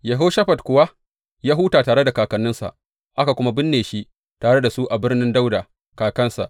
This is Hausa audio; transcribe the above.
Yehoshafat kuwa ya huta tare da kakanninsa, aka kuma binne shi tare da su a birnin Dawuda kakansa.